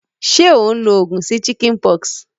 Sé o n lo ogùn sí chickenpox?